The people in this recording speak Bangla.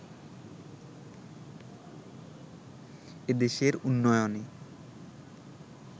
এ দেশের উন্নয়নে